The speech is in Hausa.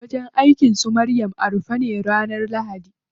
Wajen aikin su Maryam a rufe ne ranar lahadi.